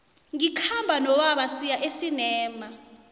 ngikhamba nobaba siya esinema